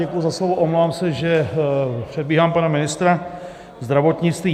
Děkuji za slovo, omlouvám se, že předbíhám pana ministra zdravotnictví.